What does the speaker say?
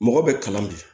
Mɔgɔ bɛ kalan bi